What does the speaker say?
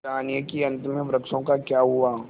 जानिए कि अंत में वृक्षों का क्या हुआ